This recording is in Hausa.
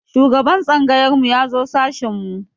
Shugaban tsangayar mu ya zo sashin mu.